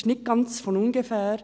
Das ist nicht ganz von ungefähr.